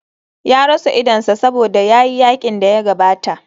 Ya rasa idonsa saboda ya yi yakin da ya gabata.